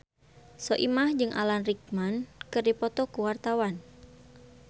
Soimah jeung Alan Rickman keur dipoto ku wartawan